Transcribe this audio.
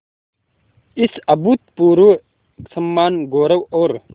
इस अभूतपूर्व सम्मानगौरव और